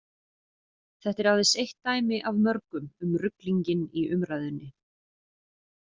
Þetta er aðeins eitt dæmi af mörgum um ruglinginn í umræðunni.